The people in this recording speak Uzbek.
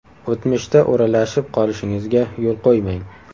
O‘tmishda o‘ralashib qolishingizga yo‘l qo‘ymang.